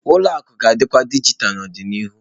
Ụlọ akụ ga-adịkwu dijitalụ n'ọdịnihu.